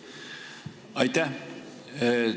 Aitäh!